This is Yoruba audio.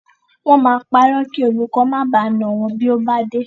Wọ́n máa parọ́ kí olùkó má baà nà wọ́n bí ó bá dé.